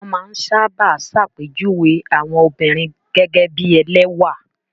Wọ́n máa ń sábà ṣàpèjúwe àwọn obìnrin gẹ́gẹ́ bí ẹlẹ́wà.